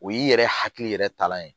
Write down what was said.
O y'i yɛrɛ hakili yɛrɛ talan ye